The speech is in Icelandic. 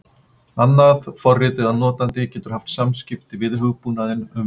annað forrit eða notandi getur haft samskipti við hugbúnaðinn um viðmótið